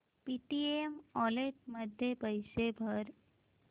Paytm wallet मध्ये पैसे भर